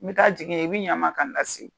N bɛ taa jigin ye i bɛ ɲan n ma k'an la se yen.